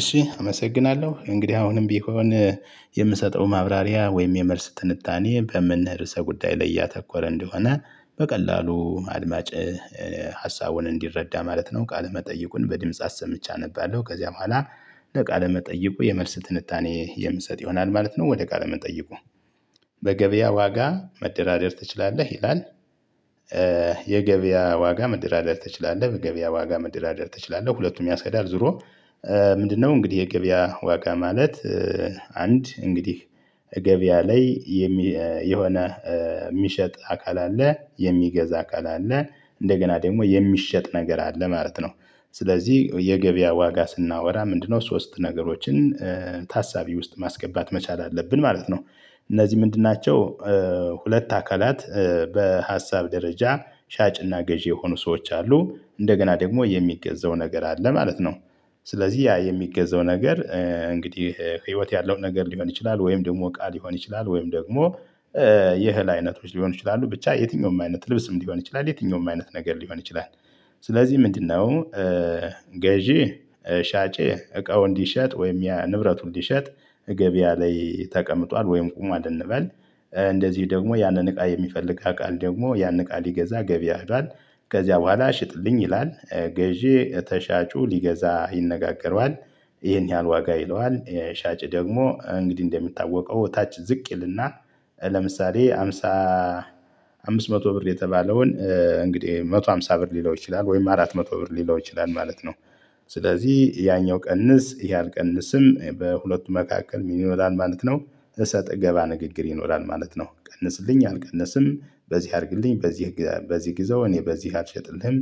እሺ አመሰግናለሁ እንግዲህ አሁንም ቢሆን የምሰጠው ማብራሪያ ወይም የመልስ ትንታኔ በምን ርዕሰ ጉዳይ ላይ ያተኮረ እንደሆነ በቀላሉ አድማጭ ሀሳቡን እንዲረዳ ማለት ነው። ቃለ መጠይቁን በድምጽ አሰምቼ አነባለሁ ከዚያ በኋላ ለ ቃለ መጠይቁ የመልስ ትንታኔ የምሰጥ ይሆናል ማለት ነው። ወደ ቃለ መጠይቁ በገበያ ዋጋ መደራደር ትችላለህ ይላል። የገበያ ዋጋ መደራደር ትችላለህ የገበያ ዋጋ መደራደር ትችላለህ ሁለቱም ያስኬዳል። ዙሮ ምንድነው? እንግዲህ የገበያ ዋጋ ማለት አንድ እንግዲህ ገበያ ላይ የሚ የሆነ የሚሸጥ አካል አለ የሚገዛ አካል አለ እንደገና ደግሞ የሚሸጥ ነገር አለ ማለት ነው። ስለዚህ የገበያ ዋጋ ስናወራ ምንድነው? ሶስት ነገሮችን ታሳቢ ውስጥ ማስገባት መቻል አለብን ማለት ነው። እነዚህ ምንድን ናቸው? ሁለት አካላት በሀሳብ ደረጃ ሻጭና ገዢ የሆኑ ሰዎች አሉ እንደገና ደግሞ የሚገዛው ነገር አለ ማለት ነው። ስለዚህ ያ የሚገዛው ነገር እንግዲህ ህይወት ያለው ነገር ሊሆን ይችላል ወይም ደግሞ እቃ ሊሆን ይችላል ወይም ደግሞ የህል አይነቶች ሊሆኑ ይችላሉ ብቻ የትኛውም አይነት ልብስም ሊሆን ይችላል የትኛውም አይነት ነገር ሊሆን ይችላል። ስለዚህ ምንድነው? ገዢ ሻጭ እቃው እንዲሸጥ ወይም ያ ንብረቱን እንዲሸጥ ገበያ ላይ ተቀምጧል ወይም ቁም አለ እንበል እንደዚህ ደግሞ ያንን እቃ የሚፈልግ አካል ደግሞ ያንን እቃ ሊገዛ ገበያ ሀዷል ከዚያ በኋላ ሽጥልኝ ይላል። ገዢ ከሻጩ ሊገዛ ይነጋገረዋል። ይሄን ያህል ዋጋ ይለዋል ሻጭ ደግሞ እንግዲህ እንደሚታወቀው ታች ዝቅ ይልና ለምሳሌ ሃምሳ አምስት መቶ ብር የተባለውን እንግዲህ መቶ ሃምሳ ብር ሊለው ይችላል ወይም አራት መቶ ብር ሊለው ይችላል ማለት ነው። ስለዚህ ያኛው ቀንስ ያን ቀንስም በሁለቱ መካከል ምን ይኖራል ማለት ነው። ሰጣ ገባ ንግግር ይኖራል ማለት ነው። ቀንስልኝ አልቀነስም በዚህ አድርግልኝ በዚህ በዚህ ግዘው እኔ በዚህ አልሸጥልኝ።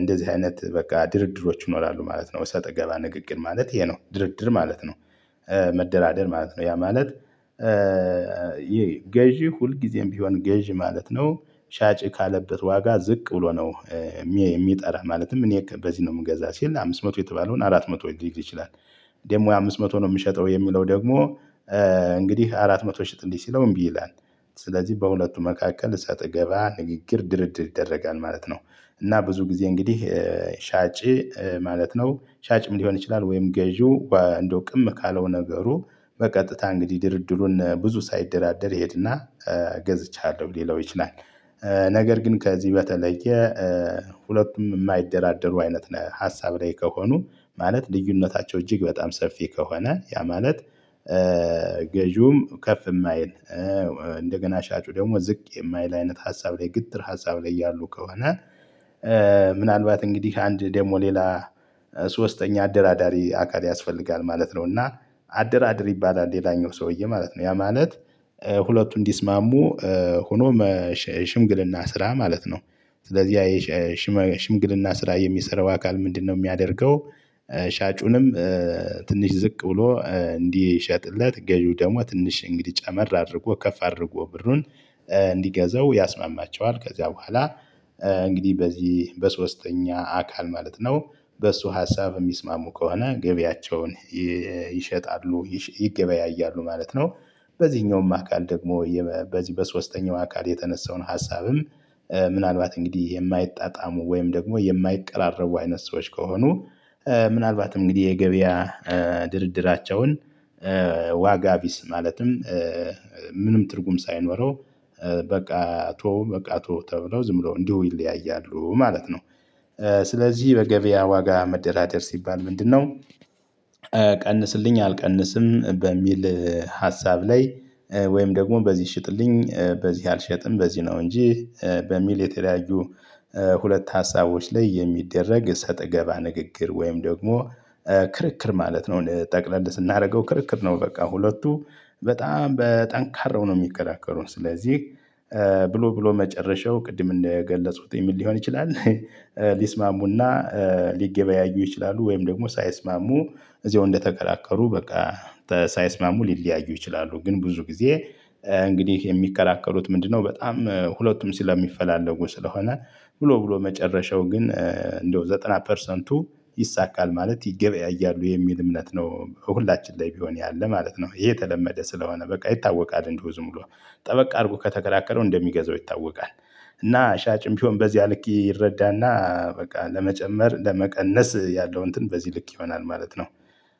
እንደዚህ አይነት በቃ ድርድሮች ይኖራሉ ማለት ነው ወይ ሰጣገባ ንግግር ማለት ይሄ ነው ድርድር ማለት ነው። መደራደር ማለት ነው ያ ማለት ገዢ ሁልጊዜም ቢሆን ገዢ ማለት ነው። ሻጭ ካለበት ዋጋ ዝቅ ብሎ ነው። የሚጠራ ማለትም እኔ በዚህ ነው የምገዛው ሲል አምስት መቶ የተባለውን አራት መቶ ሊል ይችላል። ደግሞ አምስት መቶ ነው የምሸጠው የሚለው ደግሞ እንግዲህ አራት መቶ ሽጥልኝ ሲለው እምቢ ይላል። ስለዚህ በሁለቱ መካከል ሰጣገባ ንግግር ድርድር ይደረጋል ማለት ነው። እና ብዙ ጊዜ እንግዲህ ሻጭ ማለት ነው ሻጭም ሊሆን ይችላል ወይም ገዢው እንደው ቅም ካለው ነገሩ በቀጥታ እንግዲህ ድርድሩን ብዙ ሳይደራደር ይሄድና ገዝቻለሁ ሊለው ይችላል። ነገር ግን ከዚህ በተለየ ሁለቱም የማይደራደሩ አይነት ሀሳብ ላይ ከሆኑ ማለት ልዩነታቸው እጅግ በጣም ሰፊ ከሆነ ያ ማለት ገዢውም ከፍ የማይል እንደገና ሻጩ ደግሞ ዝቅ የማይል አይነት ሀሳብ ላይ ግትር ሀሳብ ላይ ያሉ ከሆነ ምናልባት እንግዲህ አንድ ደግሞ ሌላ ሶስተኛ አደራዳሪ አካል ያስፈልጋል ማለት ነው። እና አደራድር ይባላል ሌላኛው ሰውዬ ማለት ነው። ያ ማለት ሁለቱ እንዲስማሙ ሆኖም ሽምግልና ስራ ማለት ነው። ስለዚህ ያ ሽምግልና ስራ የሚሰራው አካል ምንድነው የሚያደርገው? ሻጩንም ትንሽ ዝቅ ብሎ እንዲሸጥለት ገዢው ደግሞ ትንሽ እንግዲህ ጨመር አድርጎ ከፍ አድርጎ ብሩን እንዲገዛው ያስማማቸዋል። ከዚያ በኋላ እንግዲህ በዚህ በሶስተኛ አካል ማለት ነው። በሱ ሀሳብ የሚስማሙ ከሆነ ገቢያቸውን ይሸጣሉ ይገበያያሉ ማለት ነው። በዚህኛውም አካል ደግሞ በዚህ በሶስተኛው አካል የተነሳውን ሀሳብም ምናልባት እንግዲህ የማይጣጣሙ ወይም ደግሞ የማይቀራረቡ አይነት ሰዎች ከሆኑ ምናልባትም እንግዲህ የገበያ ድርድራቸውን ዋጋ ቢስ ማለትም ምንም ትርጉም ሳይኖረው በቃ ተወው በቃ ተወው ተብለው ዝም ብለው እንዲሁ ይለያያሉ ማለት ነው። ስለዚህ በገበያ ዋጋ መደራደር ሲባል ምንድነው? ቀንስልኝ አልቀንስም በሚል ሀሳብ ላይ ወይም ደግሞ በዚህ ሽጥልኝ በዚህ አልሸጥም በዚህ ነው እንጂ በሚል የተለያዩ ሁለት ሀሳቦች ላይ የሚደረግ ሰጣገባ ንግግር ወይም ደግሞ ክርክር ማለት ነው። ጠቅለል ስናደርገው ክርክር ነው። በቃ ሁለቱ በጣም በጠንካራው ነው የሚከራከሩ ስለዚህ ብሎ ብሎ መጨረሻው ቅድም እንደገለጽኩት ምን ሊሆን ይችላል? ሊስማሙና ሊገበያዩ ይችላሉ ወይም ደግሞ ሳይስማሙ እዚያው እንደተከራከሩ በቃ ሳይስማሙ ሊለያዩ ይችላሉ። ግን ብዙ ጊዜ እንግዲህ የሚከራከሩት ምንድነው? በጣም ሁለቱም ስለሚፈላለጉ ስለሆነ ብሎ ብሎ መጨረሻው ግን እንደው ዘጠና ፐርሰንቱ ይሳካል ማለት ይገበያያሉ የሚል እምነት ነው። ሁላችን ላይ ቢሆን ያለ ማለት ነው። ይሄ የተለመደ ስለሆነ በቃ ይታወቃል እንደው ዝም ብሎ ጠበቅ አድርጎ ከተከራከረው እንደሚገዛው ይታወቃል። እና ሻጭም ቢሆን በዚያ ልክ ይረዳና በቃ ለመጨመር ለመቀነስ ያለው እንትን በዚህ ልክ ይሆናል ማለት ነው።